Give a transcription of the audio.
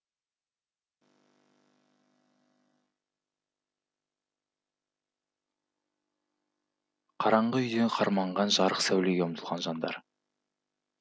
қараңғы үйде қарманған жарық сәулеге ұмтылған жандар